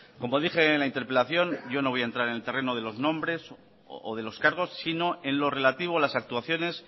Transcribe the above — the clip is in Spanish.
como dije en la interpelación yo no voy a entrar en el terreno de los nombres o de los cargos sino en lo relativo a las actuaciones